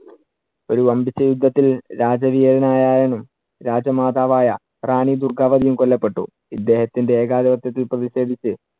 ഒരു വമ്പിച്ച യുദ്ധത്തിൽ രാജ രാജാമാതാവായ റാണി ദുർഗാവധിയും കൊല്ലപ്പെട്ടു. ഇദ്ദേഹത്തിന്‍റെ ഏകാധിപത്യത്തിൽ പ്രതിഷേധിച്ച്